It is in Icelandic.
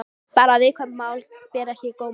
Bara að viðkvæm mál beri ekki á góma.